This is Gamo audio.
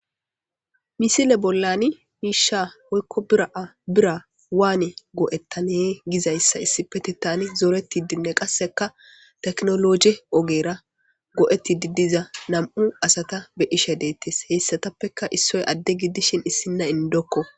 Misile bollani miisha oykko bira'a bira waane go7ettane gizayssa issipete tani zooreti dinne qasseka teknoloje ogera go'etti diddiza nam'u asata be ishe deettes heyssatappeka issoy adde giddishin issinna indokko.